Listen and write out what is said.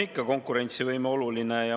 Ikka on konkurentsivõime oluline.